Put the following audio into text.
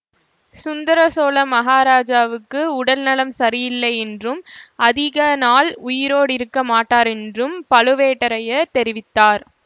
சுந்தர சோழ மகாராஜாவுக்கு உடல்நலம் சரியாயில்லையென்றும் அதிக நாள் உயிரோடிருக்க மாட்டாரென்றும் பழுவேட்டரையர் தெரிவித்தார்